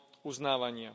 uznávania.